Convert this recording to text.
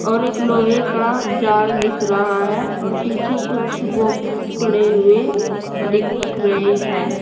और एक लोहे का जाल दिख रहा है और पीछे कुछ बॉक्स पड़े हुए दिख रहे हैं।